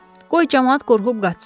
Qoy camaat qorxub qaçsın.